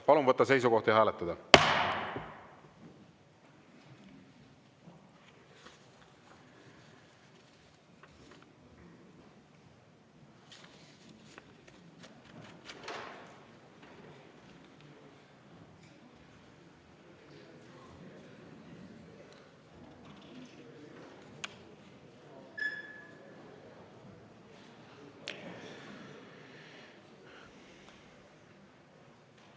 Palun võtta seisukoht ja hääletada!